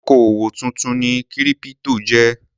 Òkòwò tuntun ni kírípítò jẹ́.